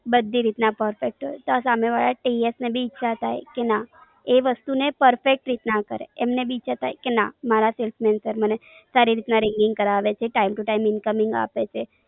બધી રીત ના perfect હોય ત્યાં સામે વાળા TS ને ભી ઈચ્છા થાય કે ના એ વસ્તુ ને perfect રીત ના કરે. અને બીજા થાય કે ના મારા salesman છે મને સારી રીત ના ringing કરાવે છે. time to time ringing આપે છે.